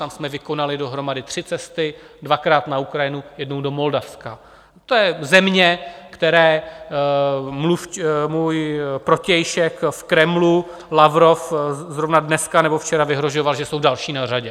Tam jsme vykonali dohromady tři cesty, dvakrát na Ukrajinu, jednou do Moldavska, to je země, které můj protějšek v Kremlu Lavrov zrovna dneska nebo včera vyhrožoval, že jsou další na řadě.